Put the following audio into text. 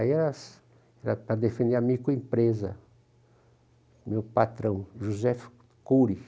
Aí era para defender a microempresa, meu patrão, José Cury.